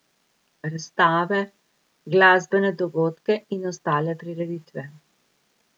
Razstave, glasbene dogodke in ostale prireditve.